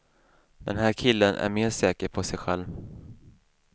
Den här killen är mer säker på sig själv.